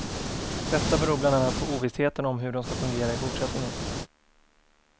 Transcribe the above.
Detta beror bland annat på ovissheten om hur de ska fungera i fortsättningen.